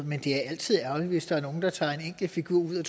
men det er altid ærgerligt hvis der er nogen der tager en enkelt figur ud og